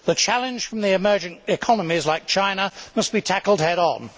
The challenge from the emerging economies like China must be tackled head on.